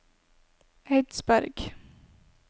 Eidsberg